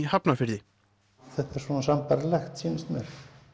Hafnarfirði þetta er svona sambærilegt sýnist mér